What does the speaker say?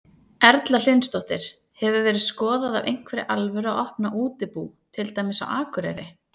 Erla Hlynsdóttir: Hefur verið skoðað af einhverri alvöru að opna útibú, til dæmis á Akureyri?